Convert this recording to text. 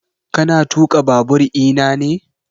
Ka na tuƙa babur ina ne?